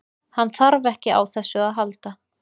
Hann þarf ekki á þessu að halda.